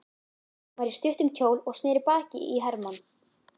Hún var í stuttum kjól og sneri baki í Hermann.